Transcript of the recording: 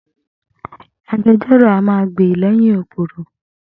Agbejọ́rò a máa gbè lẹ́yìn òpùrọ̀.